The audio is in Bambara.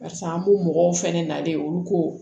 Barisa an b'u mɔgɔw fɛnɛ nalen olu ko